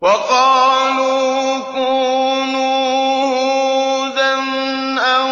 وَقَالُوا كُونُوا هُودًا أَوْ